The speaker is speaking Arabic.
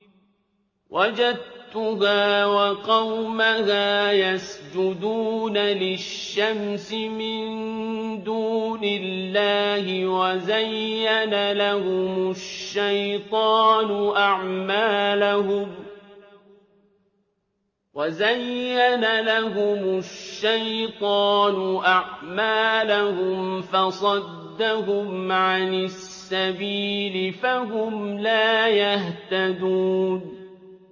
وَجَدتُّهَا وَقَوْمَهَا يَسْجُدُونَ لِلشَّمْسِ مِن دُونِ اللَّهِ وَزَيَّنَ لَهُمُ الشَّيْطَانُ أَعْمَالَهُمْ فَصَدَّهُمْ عَنِ السَّبِيلِ فَهُمْ لَا يَهْتَدُونَ